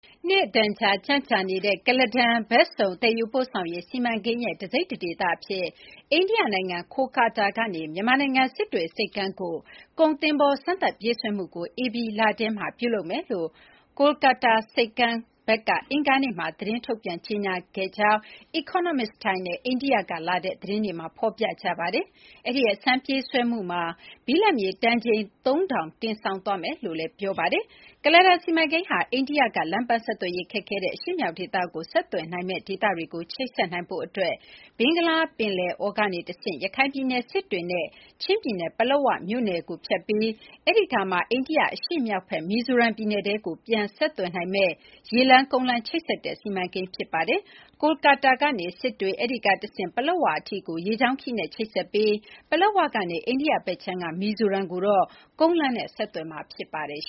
နှစ်အတန်ကြာ ကြန့်ကြာနေတဲ့ ကုလားတန်ဘက်စုံ သယ်ယူပို့ဆောင်ရေး စီမံကိန်းရဲ့တစိတ်တဒေသအဖြစ် အိန္ဒိယနိုင်ငံ ကာလ်ကတ္တားကနေ မြန်မာနိုင်ငံ စစ်တွေဆိပ်ကမ်းကို ကုန်သင်္ဘော စမ်းသပ်ပြေးဆွဲမှုကို ဧပြီလထဲမှာ ပြုလုပ်သွားမယ်လို့ ကာလကတ္တားဆိပ်ကမ်း Syama Prasad Mookerjee ဘက်က အင်္ဂါနေ့က ထုတ်ပြန်ကြေညာခဲ့တယ်လို့ Economic Times နဲ့ အိန္ဒိယကလာတဲ့သတင်းတွေမှာ ဖော်ပြထားပါတယ်။ အဲဒီ အစမ်းပြေးဆွဲမှုမှာ ဘိလပ်မြေတန်ချိန် ၃,၀၀၀ တင်ဆောင်သွားမယ်လို့ ဆိုပါတယ်။ ကုလားတန်စီမံကိန်းဟာ အိန္ဒိယက လမ်းပန်းဆက်သွယ်ရေးခက်ခဲတဲ့ အရှေ့မြောက်ဒေသကိုဆက်သွယ်နိုင်မယ့် ဒေသတွေကို ချိတ်ဆက်နိုင်ဖို့အတွက် ဘင်္ဂလားပင်လယ်အော်ကနေတဆင့် ရခိုင်ပြည်နယ် စစ်တွေနဲ့ ချင်းပြည်နယ် ပလက်ဝမြို့နယ်ကိုဖြတ်ပြီး အဲဒီကမှ အိန္ဒိယအရှေ့မြောက်ဘက် မီဇိုရမ်ပြည်နယ်ကိုထဲကို ပြန် ဆက်သွယ်နိုင်မယ့် ရေလမ်း၊ ကုန်းလမ်း ချိတ်ဆက်တဲ့ စီမံကိန်း ဖြစ်ပါတယ်။ ကာလ်ကတ္တားကနေ စစ်တွေ၊ အဲဒီကတဆင့် ပလက်ဝအထိ ရေကြောင်းခရီးနဲ့ ချိတ်ဆက်ပြီး ပလက်ဝကနေ အိန္ဒိယဘက်ခြမ်းက မီဇိုရမ်ကိုအထိတော့ ကုန်းလမ်းဆက်သွယ်မှာ ဖြစ်ပါတယ်။